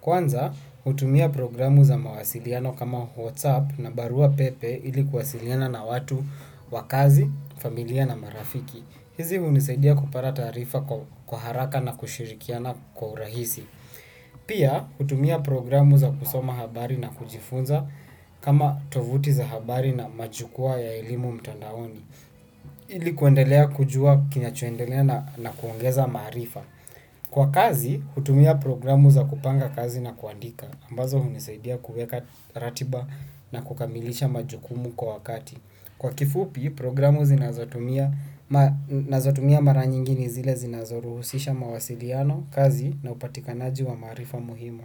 Kwanza, hutumia programu za mawasiliano kama whatsapp na barua pepe ili kuwasiliana na watu wakazi, familia na marafiki. Hizi hunisaidia kupata taarifa kwa haraka na kushirikiana kwa urahisi. Pia hutumia programu za kusoma habari na kujifunza kama tovuti za habari na majukwaa ya elimu mtandaoni. Ili kuendelea kujua kinachoendelea na kuongeza maarifa. Kwa kazi, hutumia programu za kupanga kazi na kuandika. Ambazo hunisaidia kuweka ratiba na kukamilisha majukumu kwa wakati. Kwa kifupi, programu nazotumia maranyingini zile zinazoruhusisha mawasiliano kazi na upatikanaji wa maarifa muhimu.